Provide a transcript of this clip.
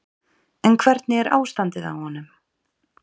En hvernig er ástandið á honum?